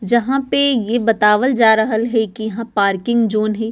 जहाँ पे ये बतावल जा रहल है कि यहाँ पार्किंग जोन है।